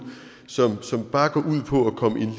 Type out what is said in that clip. som bare går ud på at komme den